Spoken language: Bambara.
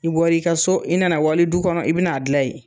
I bɔr'i ka so, i nana wali du kɔnɔ i bɛn'a dilan ye.